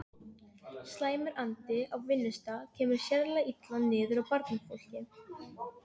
Slæmur andi á vinnustað kemur sérlega illa niður á barnafólki.